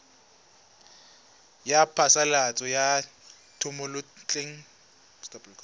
ya phasalatso ya thomelontle le